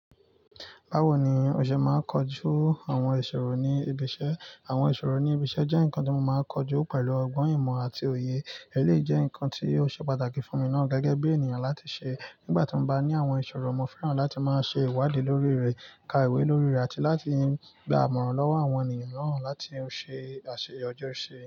Báwo ni o ṣe máa ń kojú àwọn ìṣòro ní ibi iṣẹ́? Àwọn ìṣòro ní ibi iṣẹ́ jẹ́ nǹkan tí mo máa ń kojú pẹ̀lú ọgbọ́n ìmọ̀ àti òye. Ẹleyii jẹ́ nǹkan tí ó ṣe pàtàkì fún mi náà gẹ́gẹ́ bí ènìyàn láti ṣe. Nígbà tí mo bá ní àwọn ìṣòro, mo fẹ́ràn láti máa ṣe ìwádìí lórí rẹ̀, ka ìwé lórí rẹ̀, àti láti gba àmọ̀ràn lọ́wọ́ àwọn ènìyàn náà láti ṣe àṣeyọju ṣe.